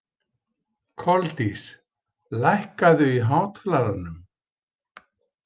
Koldís, lækkaðu í hátalaranum.